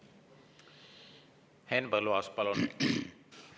Henn Põlluaas, palun!